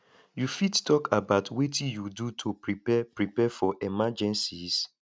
you fit talk about wetin you do to prepare prepare for emergencies